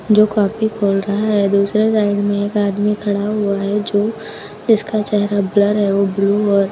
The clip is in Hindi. जो कॉपी खोल रहा है। दूसरे साइड में एक आदमी खड़ा हुआ है जो जिसका चेहरा ब्लर है। वो ब्लू और --